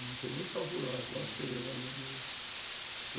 Não sei nem calcular quanto seria o valor de hoje.